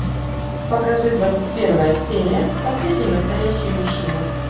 покажи двадцать первая серия последний настоящий мужчина